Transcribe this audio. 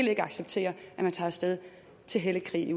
vil acceptere at man tager af sted til hellig krig